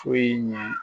Foyi ɲɛ